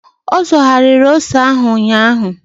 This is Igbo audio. Ọ zọgharịrị ose ahụ ụnyaahụ.